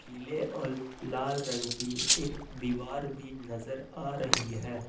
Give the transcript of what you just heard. पिले और लाल रंग की एक दीवार भी नजर आ रही है।